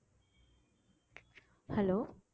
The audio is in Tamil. hello